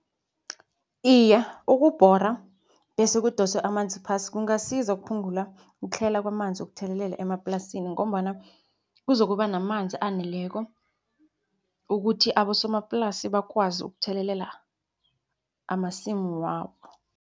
Iye, ukubhora bese kudoswe amanzi phasi kungasiza ukuphungula ukutlhayela kwamanzi ukuthelelela emaplasini ngombana kuzokuba namanzi aneleko, ukuthi abosomaplasi bakwazi ukuthelelela amasimu wabo.